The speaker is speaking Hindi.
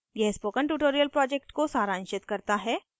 यह spoken tutorial project को सारांशित करता है